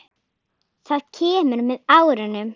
Það kemur með árunum.